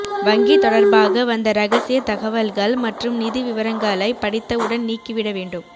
வங்கி தொடர்பாக வந்த ரகசிய தகவல்கள் மற்றும் நிதி விவரங்களைப் படித்தவுடன் நீக்கிவிட வேண்டும்